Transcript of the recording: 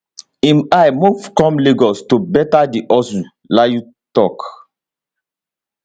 im i move come lagos to better di hustle layi tok